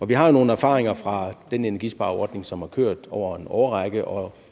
vi har jo nogle erfaringer fra den energispareordning som har kørt over en årrække og